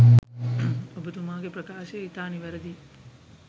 ඔබතුමාගේ ප්‍රකාශය ඉතා නිවැරදියි.